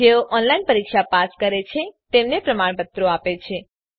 જેઓ ઓનલાઈન પરીક્ષા પાસ કરે છે તેમને પ્રમાણપત્રો આપે છે